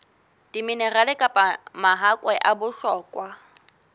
diminerale kapa mahakwe a bohlokwa